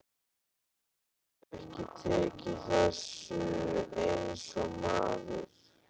Geturðu ekki tekið þessu eins og maður?